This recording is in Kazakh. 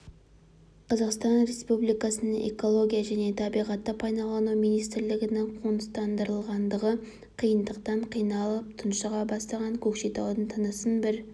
қазақстан республикасының экология және табиғатты пайдалану министрлігінің қоныстандырылғандығы қиындықтан қиналып тұншыға бастаған көкшетаудың тынысын бір